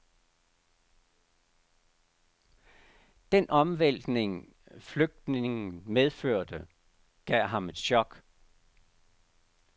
Den omvæltning, flytningen medførte, gav ham et chok.